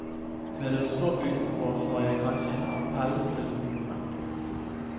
Ved å stå utenfor har jeg kanskje en appell til ungdommen.